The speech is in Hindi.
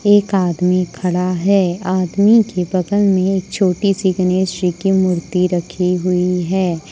एक आदमी खड़ा है आदमी के बगल में एक छोटी सी गणेश जी की मूर्ति रखी हुई है।